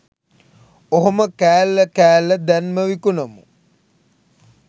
ඔහොම කෑල්ල කෑල්ල දැන්ම විකුණමු.